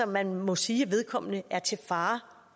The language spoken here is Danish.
man må sige at vedkommende er til fare